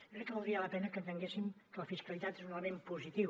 jo crec que valdria la pena que entenguéssim que la fiscalitat és un element positiu